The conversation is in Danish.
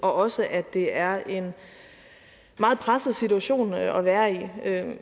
og også at det er en meget presset situation at være i